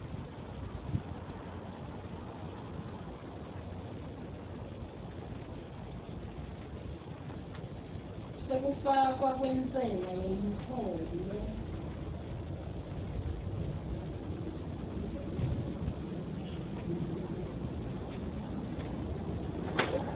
sekufakwa kwentsela yemholo